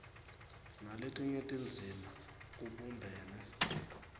naletinye tindzima kubumbene